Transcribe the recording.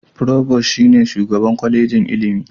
Furobos (Provost) shi ne Shugaban Kwallejin ilimi.